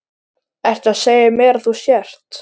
Ertu að segja mér að þú sért.